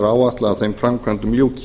áætlað að þeim framkvæmdum ljúki